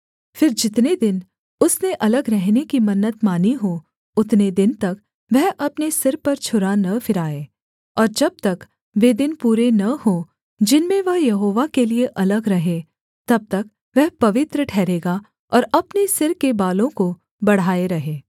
फिर जितने दिन उसने अलग रहने की मन्नत मानी हो उतने दिन तक वह अपने सिर पर छुरा न फिराए और जब तक वे दिन पूरे न हों जिनमें वह यहोवा के लिये अलग रहे तब तक वह पवित्र ठहरेगा और अपने सिर के बालों को बढ़ाए रहे